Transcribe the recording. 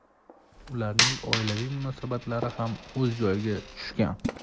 Ularning oilaviy munosabatlari ham o‘z joyiga tushgan.